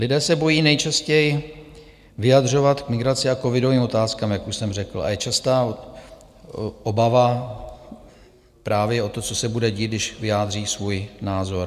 Lidé se bojí nejčastěji vyjadřovat k migraci a covidovým otázkám, jak už jsem řekl, a je častá obava právě o to, co se bude dít, když vyjádří svůj názor.